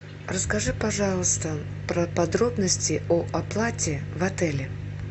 расскажи пожалуйста про подробности о оплате в отеле